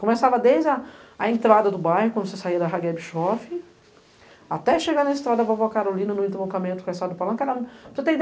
Começava desde a entrada do bairro, quando você saía da Rageb Shofi, até chegar na Estrada Vovó Carolina, no interlocamento com a Estrada do Palanque.